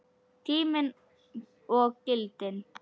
Tíminn og gildin